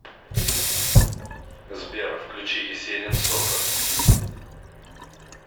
сбер включи есенин сорта